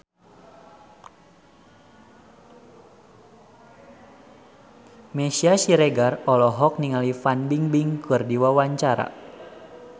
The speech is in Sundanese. Meisya Siregar olohok ningali Fan Bingbing keur diwawancara